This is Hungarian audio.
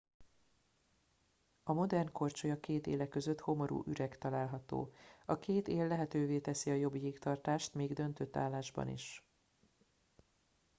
a modern korcsolya két éle között homorú üreg található a két él lehetővé teszi a jobb jégtartást még döntött állásban is